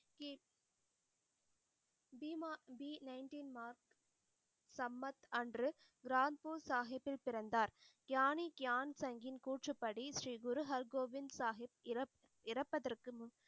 ஸ்ரீ மார்க் சம்பத் அன்று ரான்பூர் சாஹிப்பில் பிறந்தார் ஞானிக்யான் சங்கின் கூற்றுப்படி ஸ்ரீ குரு ஹல்கோவிந்த் சாஹிப் இறப்~இறப்பதற்கு முன்